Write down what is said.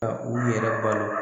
Ka u yɛrɛ balo